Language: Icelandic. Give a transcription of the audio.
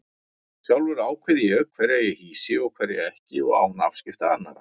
Sjálfur ákveð ég hverja ég hýsi og hverja ekki og án afskipta annarra.